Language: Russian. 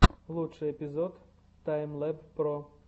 лучший эпизод таймлэб про